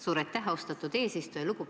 Suur aitäh, austatud eesistuja!